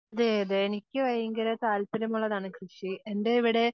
അതെ അതെ എനിക്ക് ഭയങ്കര താൽപര്യമുള്ളതാണ് കൃഷി. എൻറെ ഇവിടെ